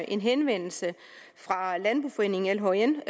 en henvendelse fra landboforeningen lhn